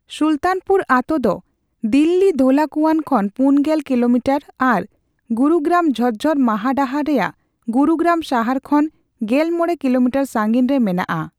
ᱥᱩᱞᱛᱟᱱᱯᱩᱨ ᱟᱛᱳ ᱫᱚ ᱫᱤᱞᱞᱤ ᱫᱷᱳᱞᱟᱠᱩᱣᱟᱱ ᱠᱷᱚᱱ ᱯᱩᱱᱜᱮᱞ ᱠᱤᱞᱳᱢᱤᱴᱟᱨ ᱟᱨ ᱜᱩᱨᱩᱜᱨᱟᱢᱼ ᱡᱷᱚᱡᱽᱡᱚᱨ ᱢᱟᱦᱟᱰᱟᱦᱟᱨ ᱨᱮᱭᱟᱜ ᱜᱩᱨᱩᱜᱨᱟᱢ ᱥᱟᱦᱟᱨ ᱠᱷᱚᱱ ᱜᱮᱞᱢᱚᱲᱮ ᱠᱤᱞᱳᱢᱤᱴᱟᱨ ᱥᱟᱹᱜᱤᱧ ᱨᱮ ᱢᱮᱱᱟᱜᱼᱟ ᱾